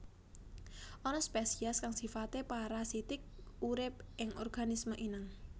Ana spèsiès kang sifaté parasitik urip ing organisme inang